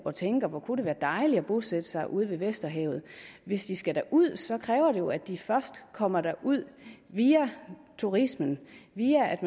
og tænker at hvor kunne det være dejligt at bosætte sig ude ved vesterhavet hvis de skal derud kræver det jo at de først kommer derud via turismen via at